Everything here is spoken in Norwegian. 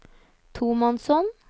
tomannshånd